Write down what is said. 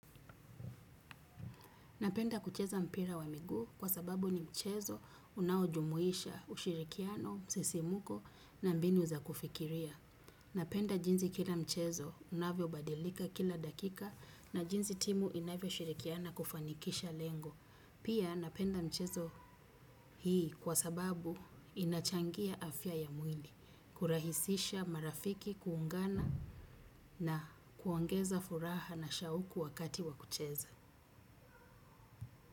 Napenda kucheza mpira wa miguu, kwa sababu ni mchezo unaojumuisha ushirikiano, msisimuko na mbinu za kufikiria. Napenda jinzi kila mchezo, unavyobadilika kila dakika na jinsi timu inavyo shirikiana kufanikisha lengo. Pia napenda mchezo hii kwa sababu inachangia afya ya mwil. Kurahisisha marafiki kuungana na kuongeza furaha na shauku wakati wa kucheza.